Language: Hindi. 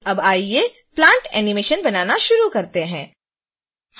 अब आइए plant animation बनाना शुरू करते हैं